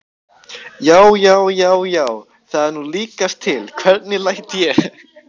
JÁ, JÁ, JÁ, JÁ, ÞAÐ ER NÚ LÍKAST TIL, HVERNIG LÆT ÉG!